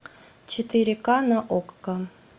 четыре ка на окко